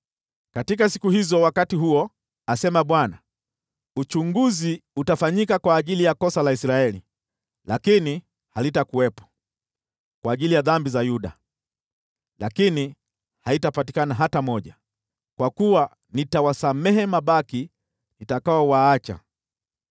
Katika siku hizo, wakati huo,” asema Bwana , “uchunguzi utafanyika kwa ajili ya kosa la Israeli, lakini halitakuwepo, kwa ajili ya dhambi za Yuda, lakini haitapatikana hata moja, kwa kuwa nitawasamehe mabaki nitakaowaacha.